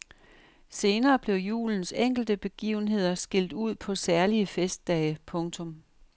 Senere blev julens enkelte begivenheder skilt ud på særlige festdage. punktum